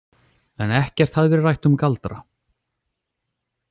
En ekkert hafði verið rætt um galdra.